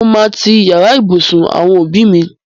Mo máa ti yàrá ìbùsùn àwọn òbí mi.